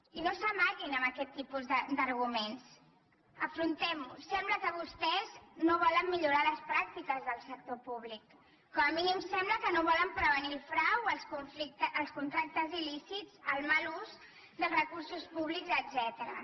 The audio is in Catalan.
i no s’amaguin amb aquests tipus d’arguments afrontem ho sembla que vostès no volen millorar les pràctiques del sector públic com a mínim sembla que no volen prevenir el frau els contractes il·lícits el mal ús dels recursos públics etcètera